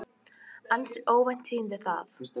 Ansi óvænt tíðindi það.